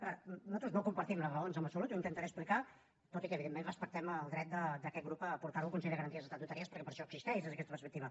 a veure nosaltres no compartim les raons en absolut i ho intentaré explicar tot i que evidentment respectem el dret d’aquest grup a portar ho al consell de garanties estatutàries perquè per això existeix des d’aquesta perspectiva